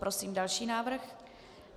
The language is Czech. Prosím další návrh.